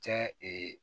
Cɛ